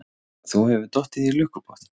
Þú hefur dottið í lukkupottinn.